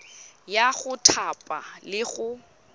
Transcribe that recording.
ya go thapa le go